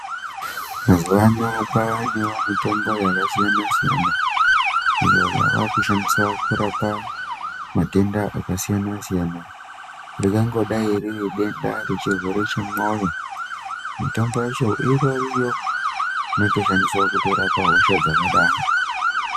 Mazuwa anaya kwaanewo mitombo yakasiyana-siyana, iyo yaakushandiswa kurapa matenda akasiyana-siyana. Ringangodai riri denda rechirwere chemwoyo, mitombo yacho itoriyo, inotoshandiswa kurapa hosha dzakadaro.